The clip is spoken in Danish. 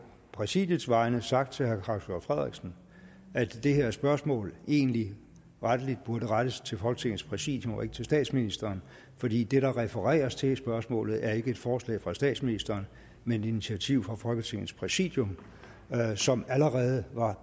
præsidiets vegne har sagt til herre claus hjort frederiksen at det her spørgsmål egentlig rettelig burde rettes til folketingets præsidium og ikke til statsministeren fordi det der refereres til i spørgsmålet ikke er et forslag fra statsministeren men et initiativ fra folketingets præsidium som allerede var